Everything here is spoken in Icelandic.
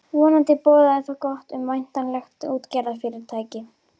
Vonandi boðaði það gott um væntanlegt útgerðarfyrirtæki.